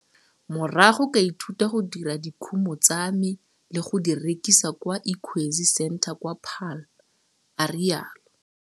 Morago ka ithuta go dira dikumo tsa me le go di rekisa kwa Ikwezi Centre kwa Paarl, a rialo.